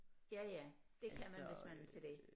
Ja ja det kan man hvis man er til det